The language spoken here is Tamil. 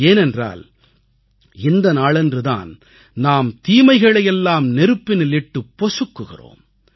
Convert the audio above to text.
ஏனென்றால் இந்த நாளன்று தான் நாம் தீமைகளையெல்லாம் நெருப்பினில் இட்டுப் பொசுக்குகிறோம்